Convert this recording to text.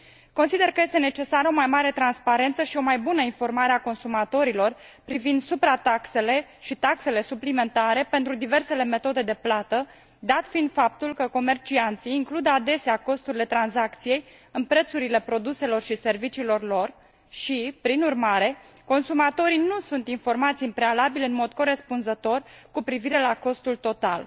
Consider că este necesară o mai mare transparență și o mai bună informare a consumatorilor privind suprataxele și taxele suplimentare pentru diversele metode de plată, dat fiind faptul că comercianții includ adesea costurile tranzacției în prețurile produselor și serviciilor lor și, prin urmare, consumatorii nu sunt informați în prealabil în mod corespunzător cu privire la costul total.